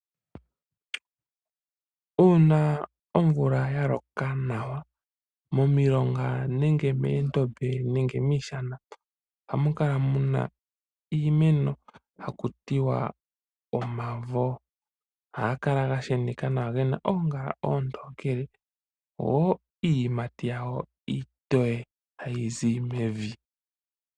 Uuna omvula ya loka nawa, momilonga nenge meendombe nenge miishana ohamu kala muna iimeno haku tiwa omavo. Ohaga kala ga sheneka nawa, gena oongala oontokele, go iiyimati yago iitoye hayi zi mevi.